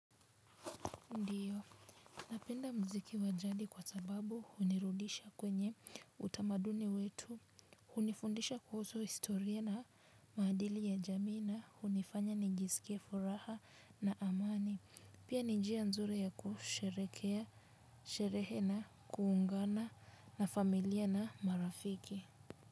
Ndiyo, napenda mziki wa jadi kwa sababu hunirudisha kwenye utamaduni wetu, hunifundisha kuhusu historia na maadili ya jamii na, hunifanya nijisikie furaha na amani, pia ni njia nzuri ya kusherekea, sherehe na, kuungana na familia na marafiki.